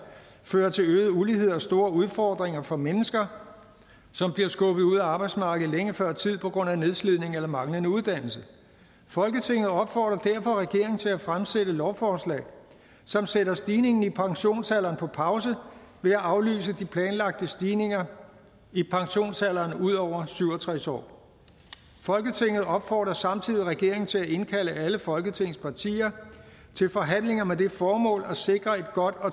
fører til øget ulighed og store udfordringer for mennesker som bliver skubbet ud af arbejdsmarkedet længe før tid på grund af nedslidning eller manglende uddannelse folketinget opfordrer derfor regeringen til at fremsætte lovforslag som sætter stigningen i pensionsalderen på pause ved at aflyse de planlagte stigninger i pensionsalderen ud over syv og tres år folketinget opfordrer samtidig regeringen til at indkalde alle folketingets partier til forhandlinger med det formål at sikre et